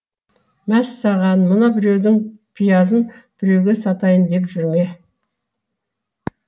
мәссаған мына біреудің пиязын біреуге сатайын деп жүр ме